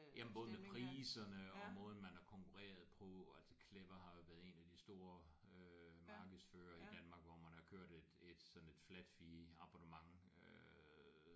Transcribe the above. Jamen både med priserne og måden man har konkurreret på altså Clever har jo været en af de store øh markedsførere i Danmark hvor man har kørt et et sådan et flat fee abonnement øh